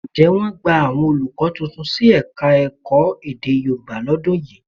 Ǹjẹ́ wọ́n gbà àwọn olùkọ́ tuntun sí Ẹ̀ka-ẹ̀kọ́ èdè Yorùbá lọ́dún yìí?